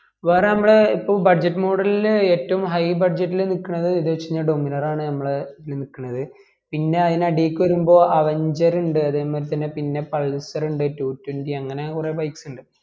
വേറെ നമ്മള് ഇപ്പൊ budget model ൽ ഏറ്റവും high budget ല് നിക്കണത് ഏത് വെച് കൈഞ്ഞാ dominar ആണ് നമ്മളെ ഇതിൽ നിക്കണത് പിന്നെ അയല് അടീക്ക് വേരുമ്പോ aventure ഉണ്ട് അതേ മായിരി ത്തനേ പിന്നെ pulsar ഉണ്ട് two twenty അങ്ങനെ കൊറേ bike സ് ഇണ്ട്